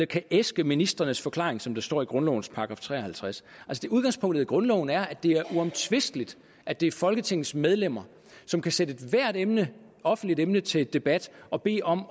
kan æske ministrenes forklaring som der står i grundlovens § tre og halvtreds udgangspunktet i grundloven er at det er uomtvisteligt at det er folketingets medlemmer som kan sætte ethvert emne offentligt emne til debat og bede om